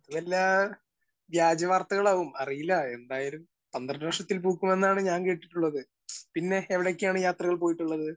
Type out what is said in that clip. Speaker 1 ഇത് വല്ല വ്യാജ വാർത്തകളും ആവും. അറിയില്ല, എന്തായാലും പന്ത്രണ്ട് വർഷത്തിൽ പൂക്കുമെന്നാണ് ഞാൻ കേട്ടിട്ടുള്ളത്. പിന്നെ എവിടെയൊക്കെയാണ് യാത്രകൾ പോയിട്ടുള്ളത്.